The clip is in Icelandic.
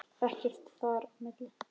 Ekkert þar á milli.